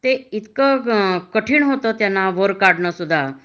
ते इतक काठीन होत वर काढण सुद्धा